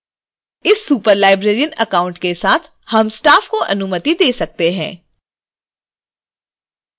इस superlibrarian account के साथ हम staff को अनुमति दे सकते हैं